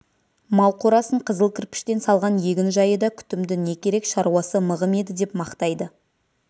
мал қорасын қызыл кірпіштен салған егін-жайы да күтімді не керек шаруасы мығым еді деп мақтайды